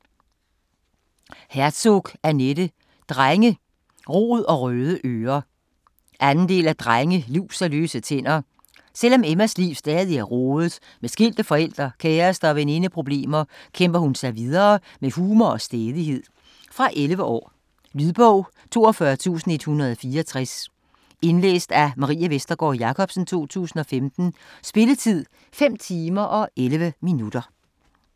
Herzog, Annette: Drenge, rod & røde ører 2. del af Drenge, lus & løse tænder. Selvom Emmas liv stadig er rodet med skilte forældre, kæreste- og veninde- problemer, kæmper hun sig videre med humor og stædighed. Fra 11 år. Lydbog 42164 Indlæst af Marie Vestergård Jacobsen, 2015. Spilletid: 5 timer, 11 minutter.